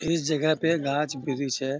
इस जगह पे गाछ वृक्ष है।